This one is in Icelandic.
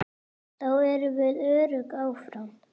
Þá erum við öruggir áfram.